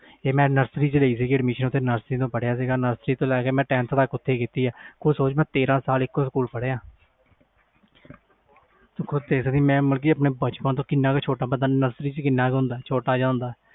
ਮੈਂ nursery ਵਿਚ admission ਲਈ nursery to ਲੈ ਕੇ tenth ਤਕ ਓਹਥੇ ਪੜ੍ਹਇਆ ਸੀ ਤੂੰ ਸੋਚ ਮੈਂ ਤੇਰਾਂ ਸਾਲ ਏਕੋ ਸਕੂਲ ਪੜ੍ਹਇਆ ਮੈਂ ਆਪਣੇ ਬਚਪਨ ਤੋਂ nursery ਚ ਕਿੰਨਾ ਛੋਟਾ ਜਾ ਬੱਚਾ ਹੁੰਦਾ ਆ